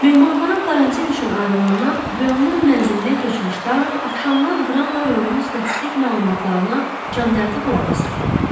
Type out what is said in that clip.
Mehmanxana karantin üçün ayrılandan rayonun mənzilinə köçmüş Taru axşamlar qıranla rayonun statistik məlumatlarına candərdi qulaq asırdı.